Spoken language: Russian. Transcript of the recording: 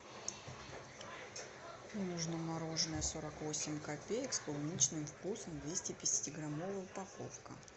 мне нужно мороженое сорок восемь копеек с клубничным вкусом двести пятидесяти граммовая упаковка